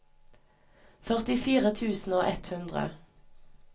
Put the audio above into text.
førtifire tusen og ett hundre